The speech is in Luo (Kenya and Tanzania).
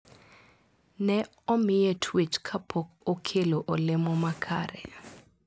Ne omiye tuech kapok okelo olemo makare.